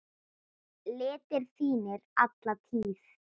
litir þínir alla tíð.